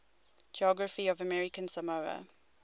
geography of american samoa